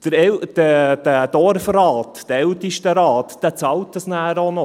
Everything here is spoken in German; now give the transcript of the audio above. Der Dorfrat, der Ältestenrat, bezahlt das auch noch.